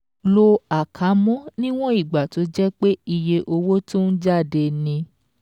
Lo àkámọ́ níwọ̀n ìgbà tó jẹ́ pé iye owó tó ń jáde ni.